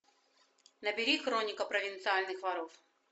набери хроника провинциальных воров